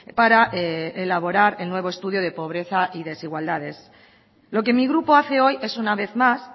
para elaborar el nuevo estudio de pobreza y desigualdades lo que mi grupo hace hoy es una vez más